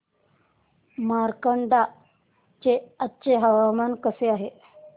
मार्कंडा चे आजचे हवामान कसे आहे